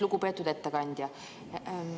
Lugupeetud ettekandja!